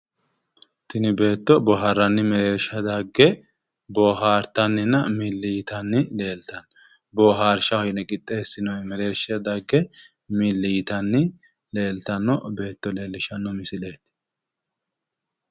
Tini beetto boohaarranni mereersha dagge boohaartanninna milli yitanni leeltanno. Boohaarshaho yine qixxeessinoyi mereershira dagge milli yitanni leeltanno beetto leellishshanno misileeti.